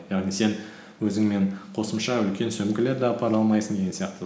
яғни сен өзіңмен қосымша үлкен сөмкелерді апара алмайсың деген сияқты